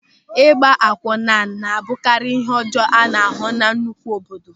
Ịgba akwunna na-abụkarị ịhe ọjọọ a na-ahụ na nnukwu obodo.